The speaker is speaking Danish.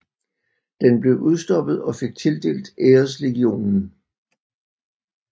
Den blev udstoppet og fik tildelt Æreslegionen